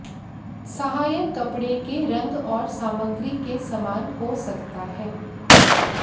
सहायक कपड़े के रंग और सामग्री के समान हो सकता है